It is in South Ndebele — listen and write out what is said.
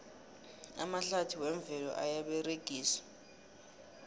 amahlathi wemvelo ayaberegiswa